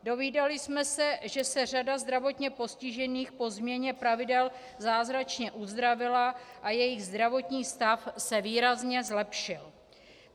Dovídali jsme se, že se řada zdravotně postižených po změně pravidel zázračně uzdravila a jejich zdravotní stav se výrazně zlepšil.